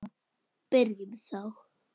Byrjum þá.